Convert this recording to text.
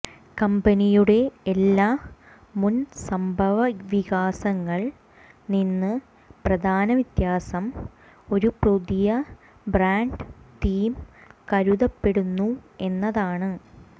കമ്പനിയുടെ എല്ലാ മുൻ സംഭവവികാസങ്ങൾ നിന്ന് പ്രധാന വ്യത്യാസം ഒരു പുതിയ ബ്രാൻഡ് തീം കരുതപ്പെടുന്നു എന്നതാണ്